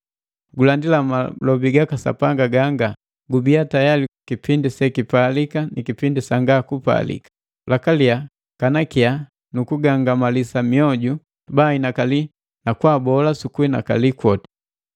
Gulandila malobi gaka Sapanga ganga, gubia tayali kipindi sekipalika ni kipindi sanga kupalika, lakalia kanakiya nukugangamalisa mioju baahinakali na kwaabola sukuhinakali kwoti.